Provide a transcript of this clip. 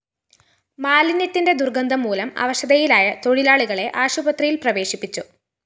മാലിന്യത്തിന്റെ ദുര്‍ഗന്ധം മൂലം അവശതയിലായ തൊഴിലാളികളെ ആശുപത്രിയില്‍ പ്രവേശിപ്പിച്ചു